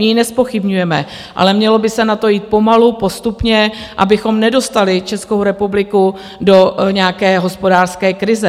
My ji nezpochybňujeme, ale mělo by se na to jít pomalu, postupně, abychom nedostali Českou republiku do nějaké hospodářské krize.